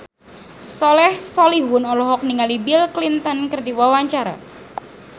Soleh Solihun olohok ningali Bill Clinton keur diwawancara